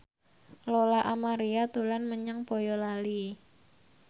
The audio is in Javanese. Lola Amaria dolan menyang Boyolali